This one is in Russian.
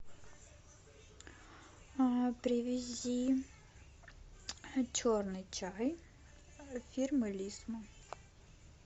привези черный чай фирмы лисма